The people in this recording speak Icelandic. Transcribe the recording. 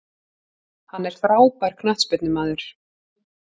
Hann er frábær knattspyrnumaður.